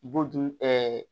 Bu dun ɛɛ